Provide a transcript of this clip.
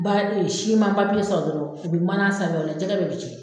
sima paiye sɔrɔ dɔrɔn u bɛ mana sanfɛ o la jɛgɛ bɛɛ bɛ